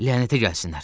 Lənətə gəlsinlər.